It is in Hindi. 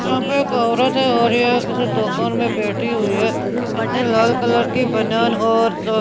यहाँ पे एक औरत है और यह किसी दुकान में बैठी हुई है इसने लाल कलर की बनियान और स--